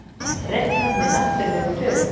Reiknað með náttúrlegum tölum.